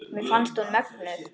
Mér fannst hún mögnuð.